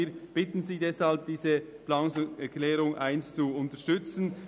Wir bitten Sie nun, diese zu unterstützen.